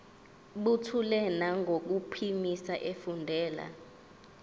buthule nangokuphimisa efundela